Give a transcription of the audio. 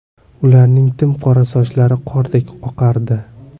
Ularning tim qora sochlari qordek oqardi.